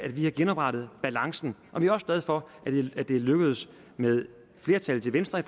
vi har genoprettet balancen og vi er også glade for at det er lykkedes med et flertal til venstre i